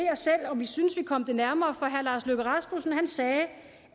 om i synes at vi kom det nærmere for herre lars løkke rasmussen sagde